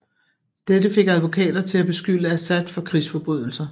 Dette fik advokater til at beskylde Assad for krigsforbrydelser